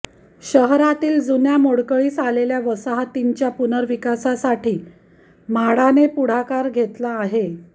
शहरातील जुन्या मोडकळीस आलेल्या वसाहतींच्या पुनर्विकासासाठी म्हाडाने पुढाकार घेतला आहे